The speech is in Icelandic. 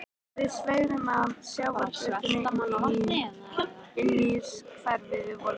Við sveigðum af sjávargötunni inn í hverfið við Vogana.